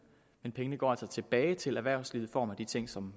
men pengene går altså tilbage til erhvervslivet i form af de ting som